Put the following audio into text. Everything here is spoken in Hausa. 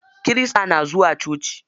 Kirista na zuwa coci.